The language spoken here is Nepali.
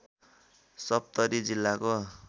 सप्तरी जिल्लाको